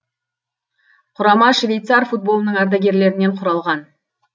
құрама швейцар футболының ардагерлерінен құралған